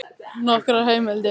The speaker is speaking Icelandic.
Nokkrar heimildir: